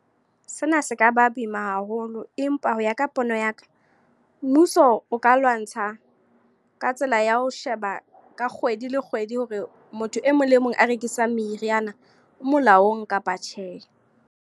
Sena se ka ba boima haholo. Empa ho ya ka pono ya ka. Mmuso o ka lwantsha, ka tsela ya ho sheba ka kgwedi le kgwedi. Hore motho e mong le mong a rekisang meriana, o molaong kapa tjhe.